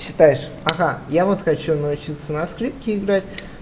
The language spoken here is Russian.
считаешь ага я вот хочу научиться на скрипке играеть